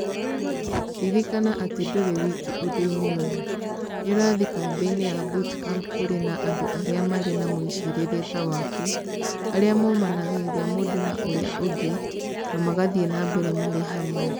Ririkana atĩ ndũrĩ wiki ũndũ-inĩ ũyũ; nĩ ũrathiĩ kambĩ-inĩ ya Bootcamp kũrĩ na andũ arĩa marĩ na mwĩcirĩrie ta waku, arĩa momanagĩrĩria mũndũ na ũrĩa ũngĩ, na magathiĩ na mbere marĩ hamwe.